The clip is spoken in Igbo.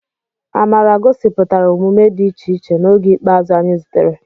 Amara gosipụtara omume dị iche iche n'oge ikpeazụ anyị zutere.